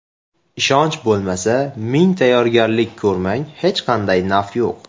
Ishonch bo‘lmasa, ming tayyorgarlik ko‘rmang, hech qanday naf yo‘q.